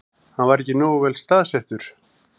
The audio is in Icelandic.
Hann var ekki nógu vel staðsettur